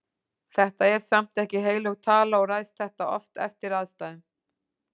Þetta er samt ekki heilög tala og ræðst þetta oft eftir aðstæðum.